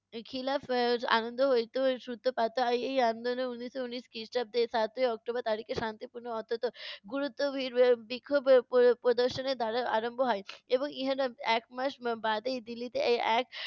এর খিলাফ এর আনন্দ হইতে সুত্রপাত হয়। এই আন্দোলন উনিশশো ঊনিশ খ্রিষ্টাব্দের সাতই অক্টোবর তারিখে শান্তিপূর্ণ অথচ গুরুত্ব বিক্ষোভ প~ প~ প্রদর্শনের ধারা আরম্ভ হয়। এবং ইহানার এক মাস বা~ বাদেই দিল্লিতে এ~ এক